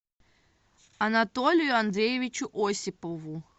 анатолию андреевичу осипову